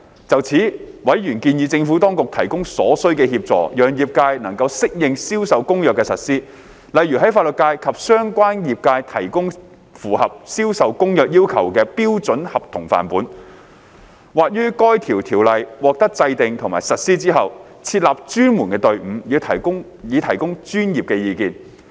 就此，委員建議政府當局提供所需協助，讓業界能適應《銷售公約》的實施，例如為法律界及相關業界提供符合《銷售公約》要求的標準合同範本，或於該條例獲制定和實施後，設立專門隊伍以提供專業意見。